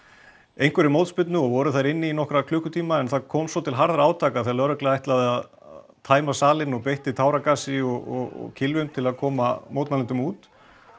einhverri mótspyrnu og voru þar inni í nokkra klukkutíma en það kom svo til harðra átaka þegar lögregla ætlaði að tæma salinn og beitti táragasi og kylfum til að koma mótmælendum út